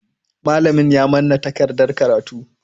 Malamin ya manna takardan karatu.